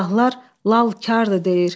Silahlar lalkardır deyir.